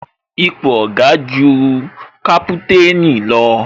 Ipò Oga ju kaputanni lọ